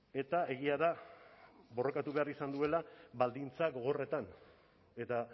eta egia da borrokatu behar izan duela baldintza gogorretan eta